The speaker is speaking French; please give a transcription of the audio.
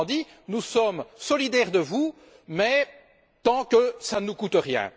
Autrement dit, nous sommes solidaires de vous, mais tant que ça ne nous coûte rien.